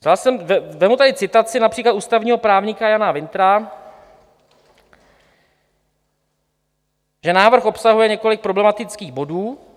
Vezmu tady citaci například ústavního právníka Jana Wintra, že návrh obsahuje několik problematických bodů.